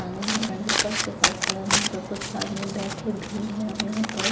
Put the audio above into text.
के पास खड़े हैं यहाँ पर कुछ आदमी बैठे भी हैं यहाँ पर--